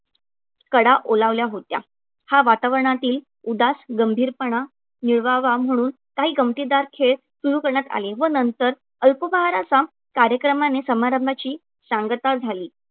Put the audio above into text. कडा ओलावल्या होत्या. हा वातावरणातील उदास गंभीरपणा निवळावा म्हणून काही गंमतीदार खेळ सुरू करण्यात आले व नंतर अल्पोपहाराचा कार्यक्रमाने समारंभाची सांगता झाली.